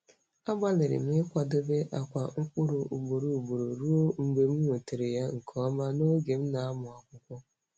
Agbalịrị m ịkwadebe akwa mkpụrụ ugboro ugboro ruo mgbe m nwetara ya nke ọma n'oge m na-amụ akwụkwọ.